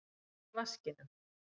Hvað er í vaskinum?